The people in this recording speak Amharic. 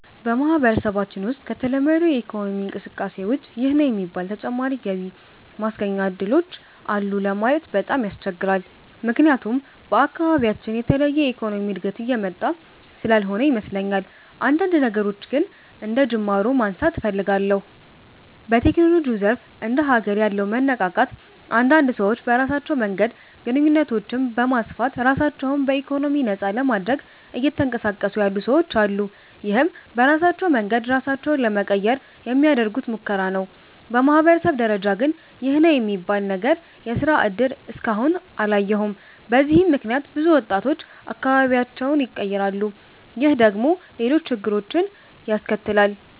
በማህበረሰባችን ውሰጥ ከተለመደው የኢኮኖሚ እንቅስቃሴ ውጭ ይህ ነው የሚባል ተጨማሪ ገቢ ማስገኛ እድሎች አሉ ለማለት በጣም ያስቸግራል። ምክያቱም በአካባቢያችን የተለየ የኢኮኖሚ እድገት እየመጣ ስላልሆነ ይመስለኛል። አንዳንድ ነገሮችን ግን አንደጅማሮ ማንሳት እፈልጋለሁ። በቴክኖሎጂው ዘርፍ እንደ ሀገር ያለው መነቃቃት አንዳንድ ሰዎች በራሳቸው መንገድ ግንኙነቶችን በማስፋት ራሳቸው በኢኮኖሚ ነፃ ለማድረግ እየተንቀሳቀሱ ያሉ ሰወች አሉ። ይህም በራሳቸው መንገድ ራሳቸውን ለመቀየር የሚያደርጉት ሙከራ ነው። በማህበረሰብ ደረጃ ግን ይህ ነው የሚባል ነገር የስራ እድል እስከ አሁን አላየሁም። በዚህም ምክንያት ብዙ ወጣቶች አካባቢያቸውን ይቀራሉ። ይህ ደግሞ ሌሎች ችግሮችን ያስከትላል።